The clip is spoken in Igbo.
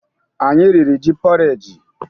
Anyị riri ji pọreji.